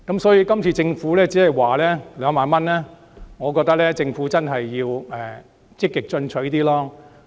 所以，今次政府寬減稅項以2萬元為上限，我覺得政府真的要積極進取一點。